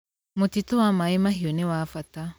Mũtitũ wa Maĩ Mahiu nĩ wa bata.